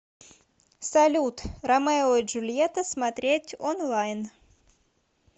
салют ромео и джульета смотреть онлайн